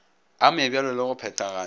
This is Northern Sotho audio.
a mabjalo le go phethagata